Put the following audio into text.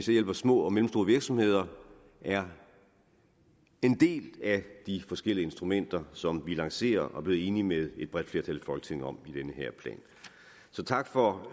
hjælper små og mellemstore virksomheder er en del af de forskellige instrumenter som vi lancerer og er blevet enige med et bredt flertal i folketinget om i den her plan så tak for